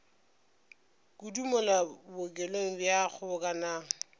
kudu mola bookelong bja kgobokanang